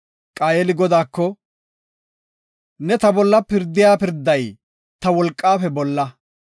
Qaayeli Godaako, “Ne ta bolla pirdida pirday ta wolqafe bolla.